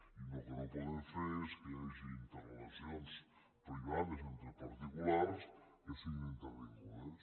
i el que no podem fer és que hi hagi interrelacions privades entre particulars que siguin intervingudes